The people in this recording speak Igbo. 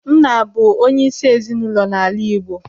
Nna na-abụ onyeisi ezinụlọ n'ala Igbo.